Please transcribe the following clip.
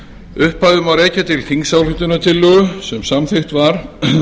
upphafið má rekja til þingsályktunartillögu sem samþykkt var